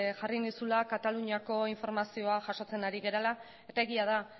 jarri nizula kataluniako informazioa jasotzen ari garela eta egia da